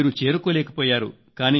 మీరు చేరుకోలేకపోయారు